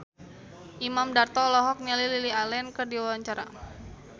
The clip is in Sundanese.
Imam Darto olohok ningali Lily Allen keur diwawancara